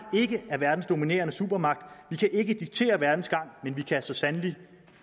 ikke er verdens dominerende supermagt vi kan ikke diktere verdens gang men vi kan så sandelig